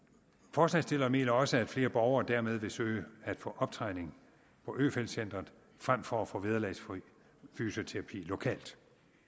forslagsstilleren mener også at flere borgere dermed vil søge at få optræning på øfeldt centret frem for at få vederlagsfri fysioterapi lokalt